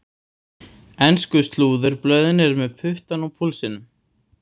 Ensku slúðurblöðin eru með puttann á púlsinum.